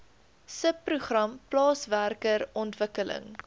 subprogram plaaswerker ontwikkeling